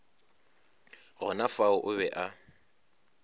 gona fao o be a